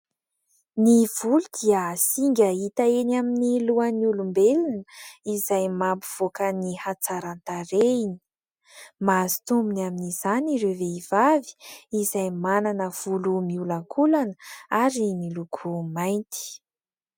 Ny volo dia singa hita eny amin'ny lohan'ny olombelona izay mampivoaka ny hatsaran-tarehiny. Mahazo tombony amin'izany ireo vehivavy izay manana volo miholankolana ary miloko mainty.